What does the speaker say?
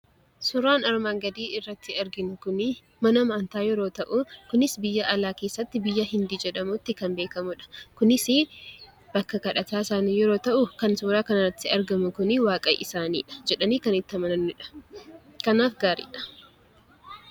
Suuraan armaan gadii irratti arginu kun mana amantaa yoo ta'u, kunis biyya alaa keessatti biyya Hindii jedhamutti kan beekamudha. Kunis bakka kadhataa isaanii yeroo ta'u kan suuraa kanarratti arginu kun waaqa isaanii jedhanii kan itti amananidha. Kanaaf gaariidha.